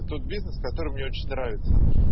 тот бизнес который мне очень нравится